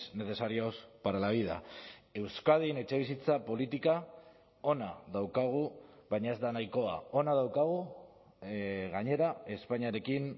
necesarios para la vida euskadin etxebizitza politika ona daukagu baina ez da nahikoa ona daukagu gainera espainiarekin